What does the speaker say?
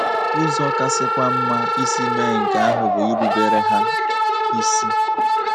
Ụzọ kasịkwa mma isi mee nke ahụ bụ irubere ha isi.